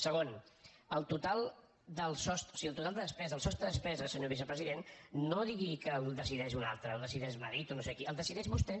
segon el total de despesa el sostre de despesa senyor vicepresident no digui que el decideix un altre el decideix madrid o no sé qui el decideix vostè